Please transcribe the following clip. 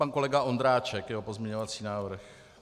Pan kolega Ondráček, jeho pozměňovací návrh.